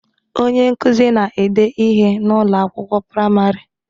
Onye nkuzi na-ede ihe n'Ụlọ akwụkwọ praịmarị